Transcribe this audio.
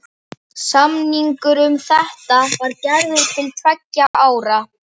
Samningur um þetta var gerður til tveggja ára.